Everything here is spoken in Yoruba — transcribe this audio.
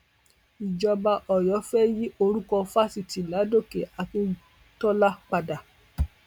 ìjọba ọyọ fẹẹ yí orúkọ fáṣítì ládòkè akíndọlà padà